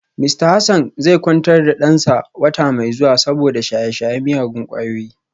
Mista Hassan zai kwantar da dansa wata mai zuwa saboda shaye-shayen miyagun kwayoyi